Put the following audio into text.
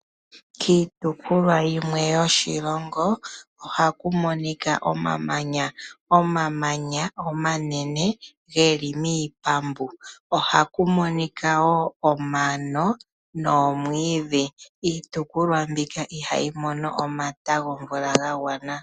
Kiitukulwa yimwe yoshilongo oha ku monika omamanya, omamanya omanene ge li miipambu oha ku monika wo omano noomwiidhi, iitukulwa mbika iha yi mono omata gomvula ga gwana.